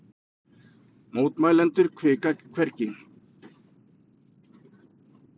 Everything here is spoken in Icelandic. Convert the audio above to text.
Mótmælendur hvika hvergi